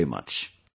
Thank you very much